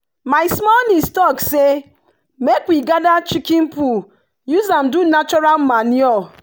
my small niece talk say make we gather chicken poo use am do natural manure.